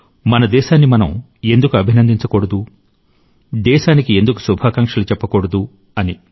మన దేశాన్ని మనం ఎందుకు అభినందించకూడదు దేశానికి ఎందుకు శుభాకాంక్షలు చెప్పకూడదు అని